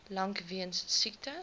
lank weens siekte